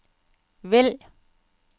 vælg